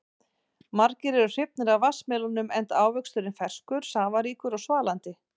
Margir eru hrifnir af vatnsmelónum enda ávöxturinn ferskur, safaríkur og svalandi.